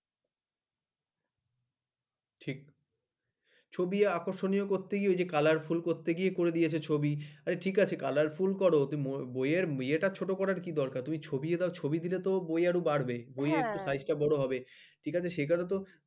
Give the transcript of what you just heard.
ঠিক ছবি আকর্ষণীয় ওই যে colorful করতে করে দিয়ে এসেছে ছবি। ঠিক আছে colorful কর বইয়ের ইয়ারটা ছোট করার কি দরকার তুমি ছবি দাও ছবি দিলে তো বই আরো বাড়বে হ্যাঁ বই আরো সাইজটা বড় হবে ঠিক আছে সে কারো তো